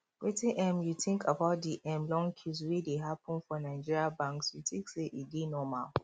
wetin um you think about di um long queues wey dey happen for nigerian banks you think say e dey normal